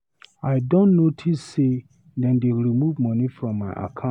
I don notice say dem dey remove money from my account.